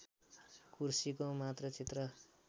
कुर्सीको मात्र चित्र